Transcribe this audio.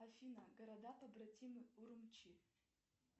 афина города побратимы урумчи